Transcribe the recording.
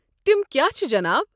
تم کیٛاہ چھ جناب؟